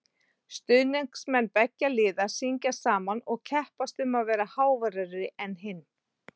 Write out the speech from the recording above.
Stuðningsmenn beggja liða syngja saman og keppast um að vera háværari en hinn.